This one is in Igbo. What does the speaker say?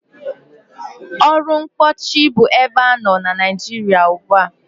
Ọrụ mkpóọchị bu ebe anọ na Nịajịrịa ugbua.